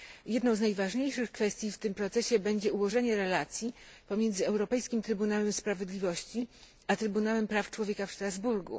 Jedną z najważniejszych kwestii w tym procesie będzie ułożenie relacji pomiędzy Europejskim Trybunałem Sprawiedliwości a Trybunałem Praw Człowieka w Strasburgu.